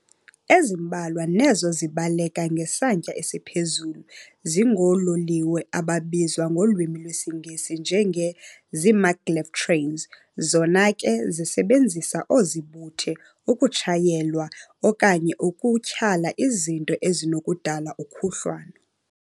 Ezimbalwa nezo zibaleka ngesantya esiphezulu zingoololiwe ababizwa ngolwimi lwesiNgesi njenge-zii-maglev trains zona ke zisebenzisa oozibuthe ukutshayelwa okanye ukutyhala izinto ezinokudala ukhuhlwano.